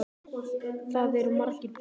Þar eru margar búðir.